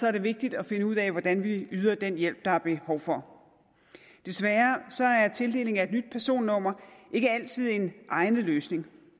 er det vigtigt at finde ud af hvordan vi yder den hjælp der er behov for desværre er tildelingen af et nyt personnummer ikke altid en egnet løsning